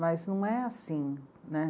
Mas não é assim, né.